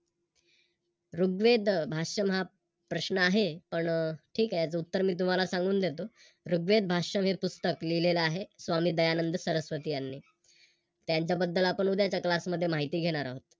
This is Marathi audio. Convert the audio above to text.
ऋग्वेदा भाषण हा प्रश्न आहे, पण ठीक आहे त्याच उत्तर मी तुम्हाला सांगून देतो, ऋग्वेद भाष्य हे पुस्तक लिहिले आहे स्वामी दयानंद सरस्वती यांनी. त्यांच्या बद्दल आपण उद्याच्या Class मध्ये माहिती घेणार आहोत.